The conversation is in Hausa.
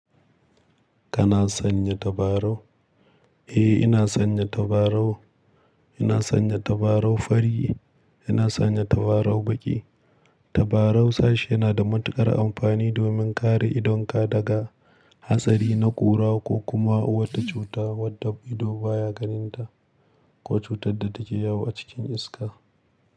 Kana sanya tabarau? Eh ina sanya tabarau. Ina sanya tabarau fari, ina sanya tabarau baƙi. Tabarau sashi yana da matuƙar amfani domin kare idonka daga hatsari na ƙura ko kuma wata cuta wadda ido baya ganinta ko cutar da take yawo a cikin iska.